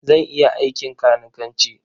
Zan iya aikin kanikanci.